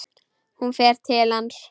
Hún fer til hans.